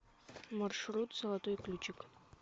маршрут золотой ключик